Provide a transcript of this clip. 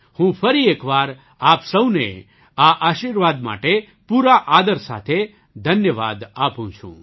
હું ફરી એક વાર આપ સહુને આ આશીર્વાદ માટે પૂરા આદર સાથે ધન્યવાદ આપું છું